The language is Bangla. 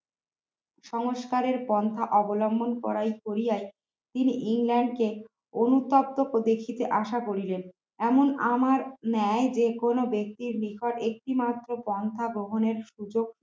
সংস্কারের পন্থা অবলম্বন করায় কোরিয়ায় তিনি ইংল্যান্ডকে অনুতপ্ত দেখিতে আশা করিলেন এমন আমার ন্যায় যে কোন ব্যক্তির নিকট একটিমাত্র পন্থা গ্রহণের সুযোগ